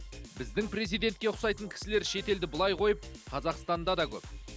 біздің президентке ұқсайтын кісілер шетелді былай қойып қазақстанда да көп